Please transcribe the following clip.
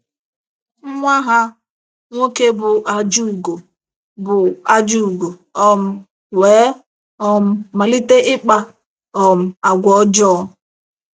Nwa ha nwoke bụ́ Ajugo bụ́ Ajugo um wee um malite ịkpa um àgwà ọjọọ.